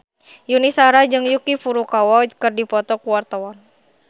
Yuni Shara jeung Yuki Furukawa keur dipoto ku wartawan